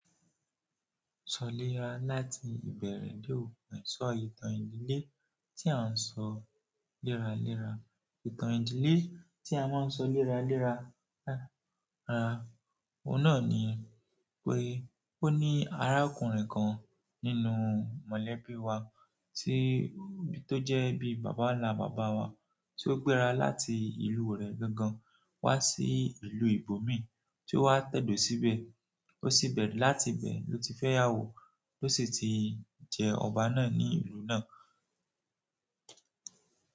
Sọ lé ra láti ìbẹ̀rẹ̀ dé òpin, sọ ìtàn ìdílé tí à ń sọ léra léra. Ìtàn ìdílé tí a máa ń sọ léra léra, oun náà ni pé ó ní arákùnrin kan nínú mọ̀lẹ́bí wa tí, tó jẹ́ bí bàbà ńlá bàbà wa, tí ó gbéra láti ìlú rẹ̀ gangan wá sí ìlú ìbò mi, tí ó wá tẹ̀do síbẹ̀, ó sì bẹ̀re, láti bẹ̀ lọ ti fẹ́ ìyàwó tó sì ti jẹ ọba náà ní ìlú náà.